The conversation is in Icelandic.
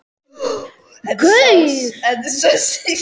Sumir hræðast hana jafnvel meira en Friðrik sjálfan.